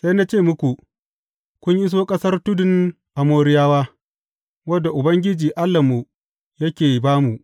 Sai na ce muku, Kun iso ƙasar tudun Amoriyawa, wadda Ubangiji, Allahnmu yake ba mu.